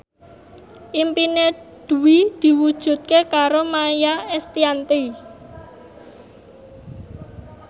impine Dwi diwujudke karo Maia Estianty